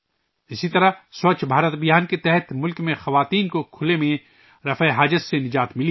اسی طرح ملک میں خواتین کو 'سووچھ بھارت ابھیان ' کے تحت کھلے میں رفع حاجت سے آزادی ملی ہے